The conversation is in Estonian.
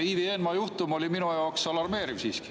Ivi Eenmaa juhtum oli minu jaoks alarmeeriv siiski.